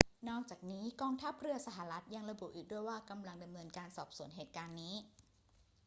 นอกจากนี้ กองทัพเรือสหรัฐฯ ยังระบุอีกด้วยว่ากำลังดำเนินการสอบสวนเหตุการณ์นี้